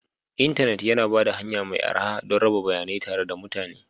Intanit yana ba da hanya mai arha don raba bayanai tare da mutane